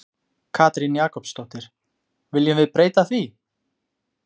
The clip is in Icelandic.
Katrín Jakobsdóttir: Viljum við breyta því?